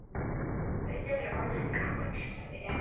Rauður er orðinn gamall, sagði Hilmar.